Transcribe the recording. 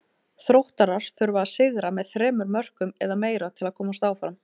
Þróttarar þurfa að sigra með þremur mörkum eða meira til að komast áfram.